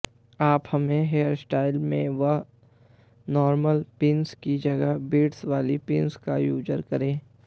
आप अपने हेयरस्टाइल में व नॉर्मल पिन्स की जगह बीट्स वाली पिन्स का यूज करें